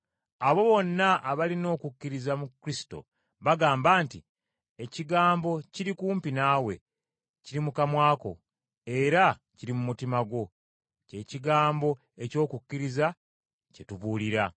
Abo bonna abalina okukkiriza mu Kristo bagamba nti, “Ekigambo kiri kumpi naawe, kiri mu kamwa ko era kiri mu mutima gwo,” kye kigambo eky’okukkiriza kye tubuulira.